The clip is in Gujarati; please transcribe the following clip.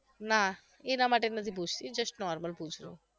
ના એના માટે નથી પુછતી just normal પુછુ છુ